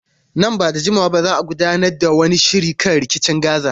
Nan ba da jimawa ba za a gudanar da wani shiri kan rikicin Gaza.